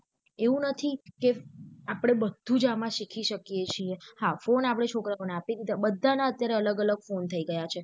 એવું નથી કે આપળે બધુજ એમાં શીખી શકીયે છીએ હા phone આપડે છોકરાઓ ને આપી ધીધા બંધન અત્યારે અલગ અલગ phone થઇ ગયા છે.